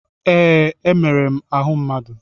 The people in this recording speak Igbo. Ee. Emere m ahụ mmadụ.